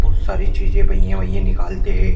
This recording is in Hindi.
बहुत सारी चीज़े पहिये वहिये निकालते है।